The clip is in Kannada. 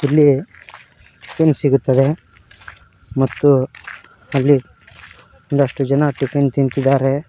ಇಲ್ಲಿ ಟಿಫಿನ್ ಸಿಗುತ್ತದೆ ಮತ್ತು ಅಲ್ಲಿ ಒಂದಷ್ಟು ಜನ ಟಿಫಿನ್ ತಿಂತಿದ್ದಾರೆ.